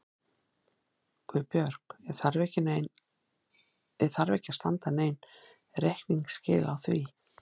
GUÐBJÖRG: Ég þarf ekki að standa yður nein reikningsskil á því.